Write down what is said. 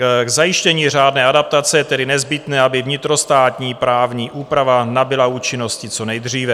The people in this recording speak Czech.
K zajištění řádné adaptace je tedy nezbytné, aby vnitrostátní právní úprava nabyla účinnosti co nejdříve.